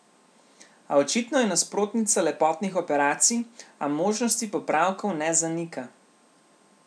A očitno je nasprotnica lepotnih operacij, a možnosti popravkov ne zanika.